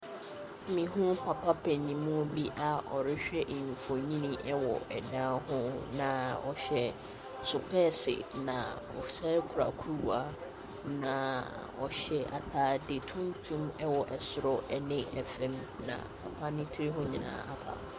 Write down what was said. Mehu papa panimu bi a ɔrehwɛ mfonin wɔ dan ho, na ɔhyɛ sopɛɛse, na ɔsan kura kuruwa, na ɔhyɛ atade tuntum wɔ soro ne fam, na papa ne tiri ho nyinaa apa.